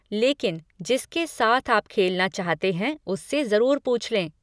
लेकिन जिसके साथ आप खेलना चाहते है उस से जरुर पूछ लें।